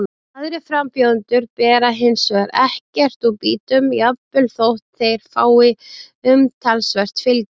Aðrir frambjóðendur bera hins vegar ekkert úr býtum, jafnvel þótt þeir fái umtalsvert fylgi.